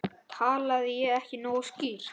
Talaði ég ekki nógu skýrt?